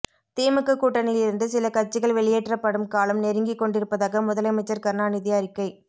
திமுக கூட்டணியிலிருந்து சில கட்சிகள் வெளியேற்றப்படும் காலம் நெருங்கி கொண்டிருப்பதாக முதலமைச்சர் கருணாநிதி அறிக்கை